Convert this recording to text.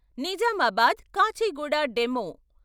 Nizamabad Kacheguda demo